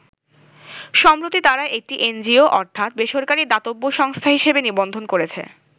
সম্প্রতি তারা একটি এনজিও অর্থাৎ বেসরকারি দাতব্য সংস্থা হিসাবে নিবন্ধন করেছে।